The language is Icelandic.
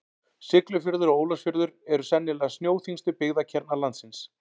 Siglufjörður og Ólafsfjörður eru sennilega snjóþyngstu byggðakjarnar landsins.